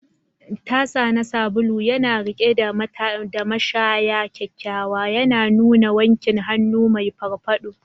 Tasa na sabulu yana riƙe da mashaya kyakkyawa, yana nuna wankin hannu mai farfado.